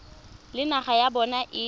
le naga ya bona e